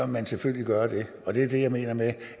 man selvfølgelig gøre det og det er det jeg mener med